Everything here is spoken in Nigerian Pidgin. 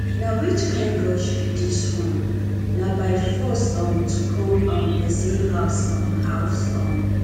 na which kin rush be dis na by force um to come um person house um house um